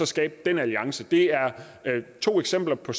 skabe en alliance dér det er to eksempler på